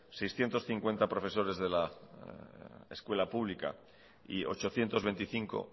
seiscientos cincuenta profesores de la escuela pública y ochocientos veinticinco